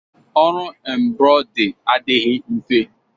Ọrụ embrọdị adịghị mfe